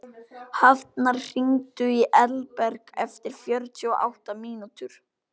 Hafnar, hringdu í Elberg eftir fjörutíu og átta mínútur.